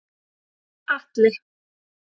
Atli